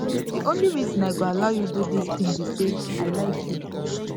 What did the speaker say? the only reason i go allow you do dis thing be say i like you